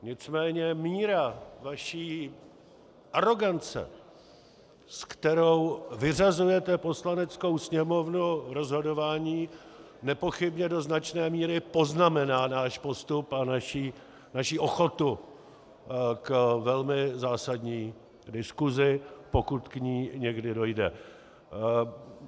Nicméně míra vaší arogance, se kterou vyřazujete Poslaneckou sněmovnu z rozhodování, nepochybně do značné míry poznamená náš postup a naši ochotu k velmi zásadní diskusi, pokud k ní někdy dojde.